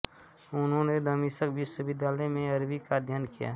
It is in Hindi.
उन्होंने दमिश्क विश्वविद्यालय में अरबी का अध्ययन किया